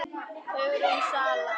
Hugrún Svala.